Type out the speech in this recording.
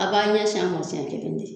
A b'a ɲɛsin a man sien kelen de.